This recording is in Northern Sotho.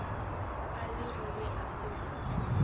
a leruri a se go